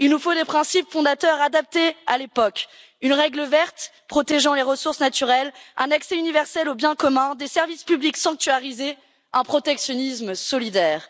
Il nous faut des principes fondateurs adaptés à l'époque, une règle verte protégeant les ressources naturelles, un accès universel aux biens communs, des services publics sanctuarisés, un protectionnisme solidaire.